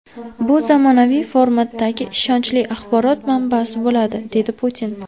Bu zamonaviy formatdagi ishonchli axborot manbasi bo‘ladi”, dedi Putin.